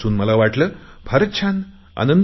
हे वाचून मला फार छान वाटले